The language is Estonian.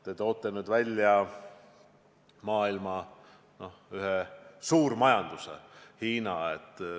Te tõite välja maailma ühe suurima majanduse Hiina.